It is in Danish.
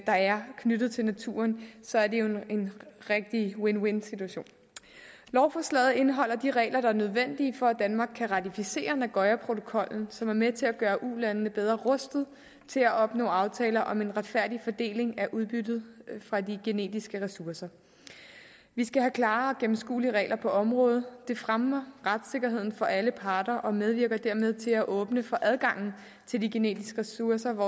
der er knyttet til naturen så er det jo en rigtig win win situation lovforslaget indeholder de regler der er nødvendige for at danmark kan ratificere nagoyaprotokollen som er med til at gøre ulandene bedre rustet til at opnå aftaler om en retfærdig fordeling af udbyttet fra de genetiske ressourcer vi skal have klare og gennemskuelige regler på området det fremmer retssikkerheden for alle parter og medvirker dermed til at åbne for adgangen til de genetiske ressourcer